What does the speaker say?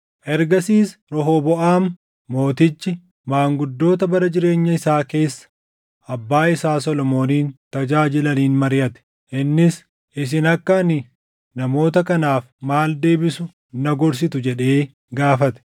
Ergasiis Rehooboʼaam Mootichi maanguddoota bara jireenya isaa keessa abbaa isaa Solomoonin tajaajilaniin mariʼate. Innis, “Isin akka ani namoota kanaaf maal deebisu na gorsitu?” jedhee gaafate.